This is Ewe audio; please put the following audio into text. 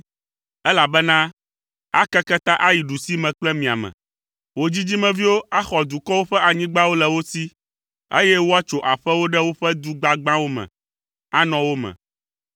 elabena akeke ta ayi ɖusime kple miame. Wò dzidzimeviwo axɔ dukɔwo ƒe anyigbawo le wo si, eye woatso aƒewo ɖe woƒe du gbagbãwo me, anɔ wo me.